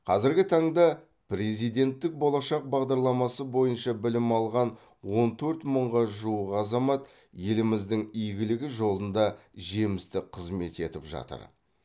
қазіргі таңда президенттік болашақ бағдарламасы бойынша білім алған он төрт мыңға жуық азамат еліміздің игілігі жолында жемісті қызмет етіп жатыр